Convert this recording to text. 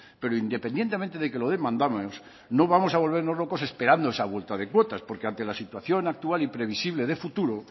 pero independientemente de que lo demandamos no vamos a volvernos locos esperando esa vuelta de cuotas porque ante la situación actual y previsible de futuro